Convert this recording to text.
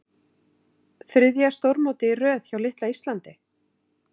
Þriðja stórmótið í röð hjá litla Íslandi?